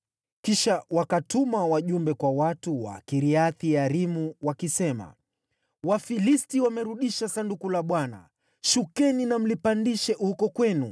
Kisha wakatuma wajumbe kwa watu wa Kiriath-Yearimu, wakisema, “Wafilisti wamerudisha Sanduku la Bwana . Shukeni na mlipandishe huko kwenu.”